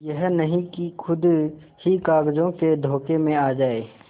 यह नहीं कि खुद ही कागजों के धोखे में आ जाए